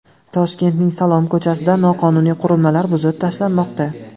Toshkentning Salom ko‘chasida noqonuniy qurilmalar buzib tashlanmoqda.